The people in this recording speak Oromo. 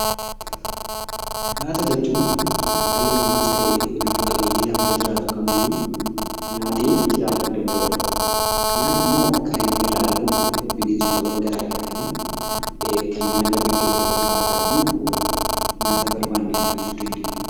Nyaata jechuun kan dhali namaas ta'ee lubbu qabenyiinnlafa irra jiraatu kaam iyyuu nyaatte jiraachuu danda'udha. Nyaatti immoo kanbinni irra argamuu binensootawwaan gara garaafi kannen akka biqiloota irratti nyaata barbanee argachuu dandeenya.